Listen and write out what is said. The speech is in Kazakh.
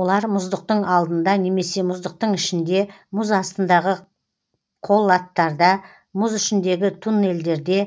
олар мұздықтың алдында немесе мұздықтың ішінде мұз астындағы қолаттарда мұз ішіндегі туннелдерде